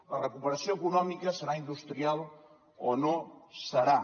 la recuperació econòmica serà industrial o no serà